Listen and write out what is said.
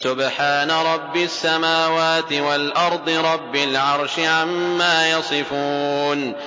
سُبْحَانَ رَبِّ السَّمَاوَاتِ وَالْأَرْضِ رَبِّ الْعَرْشِ عَمَّا يَصِفُونَ